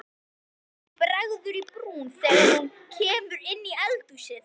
Henni bregður í brún þegar hún kemur inn í eldhúsið.